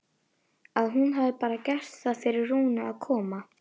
Að hún hafi bara gert það fyrir Rúnu að koma.